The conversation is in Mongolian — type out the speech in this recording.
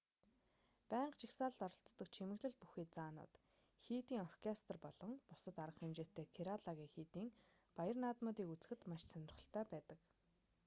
байнга жагсаалд оролцдог чимэглэл бүхий заанууд хийдийн оркестр болон бусад арга хэмжээтэй кералагийн хийдийн баяр наадмуудыг үзэхэд маш сонирхолтой байдаг